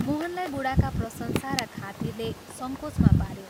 मोहनलाई बूढाका प्रशंसा र खातिरले संकोचमा पाऱ्यो।